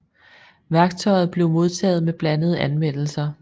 Værket blev modtaget med blandede anmeldelser